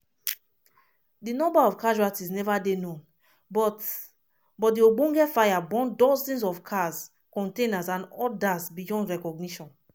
di number of casualties never dey known but but di ogbonge fire burn dozens of cars containers and odas beyond recognition.